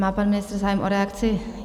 Má pan ministr zájem o reakci?